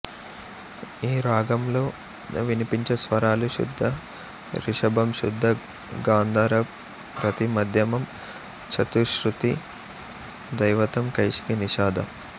ఈ రాగంలో వినిపించే స్వరాలు శుద్ధ రిషభం శుద్ధ గాంధారం ప్రతి మధ్యమం చతుశృతి ధైవతం కైశికి నిషాధం